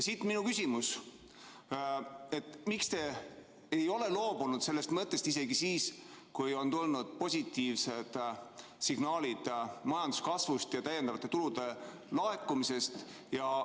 Siit minu küsimus: miks te ei ole loobunud sellest mõttest, isegi pärast seda mitte, kui on tulnud positiivsed signaalid majanduskasvu ja lisatulude laekumise kohta?